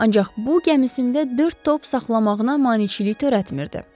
Ancaq bu gəmisində dörd top saxlamağına maneçilik törətmirdi.